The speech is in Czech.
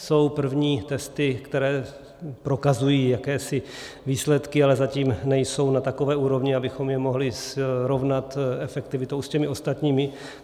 Jsou první testy, které prokazují jakési výsledky, ale zatím nejsou na takové úrovni, abychom je mohli srovnat efektivitou s těmi ostatními.